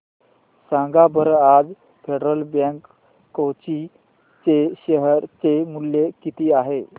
सांगा बरं आज फेडरल बँक कोची चे शेअर चे मूल्य किती आहे